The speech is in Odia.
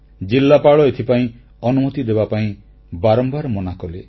ଜିଲ୍ଲାପାଳ ଏଥିପାଇଁ ଅନୁମତି ଦେବାପାଇଁ ବାରମ୍ବାର ମନାକଲେ